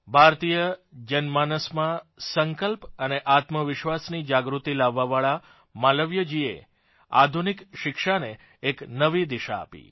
ભારતીય જનમાનસમાં સંકલ્પ અને આત્મવિશ્વાસની જાગૃતિ લાવવાવાળા માલવીયજીએ આધુનિક શિક્ષાને એક નવી દિશા આપી